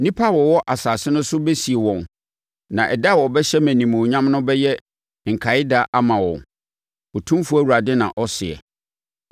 Nnipa a wɔwɔ asase no so bɛsie wɔn, na ɛda a wɔbɛhyɛ me animuonyam no bɛyɛ nkaeɛda ama wɔn, Otumfoɔ Awurade na ɔseɛ.